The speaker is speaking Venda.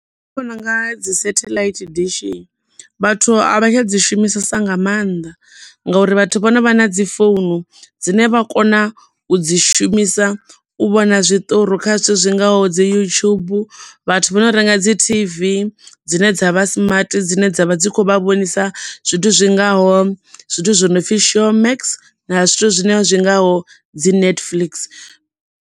Nṋe ndi vhona unga dzi satellite dishi vhathu a vha tsha dzi shumisesa nga maanḓa, ngauri vhathu vha no vha na dzi founu dzine vha kona u dzi shumisa u vhona zwiṱori kha zwithu zwi ngaho dzi YouTube vhathu vho no renga dzi tv dzine dza vha smart dzine dzavha dzi kho vha vhonisa zwithu zwingaho zwithu zwi no pfi Showmax na zwithu zwine zwi ngaho dzi Netflix.